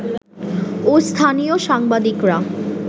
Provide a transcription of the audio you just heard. ও স্থানীয় সাংবাদিকরা